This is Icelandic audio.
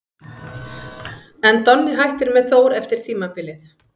En Donni hættir með Þór eftir tímabilið.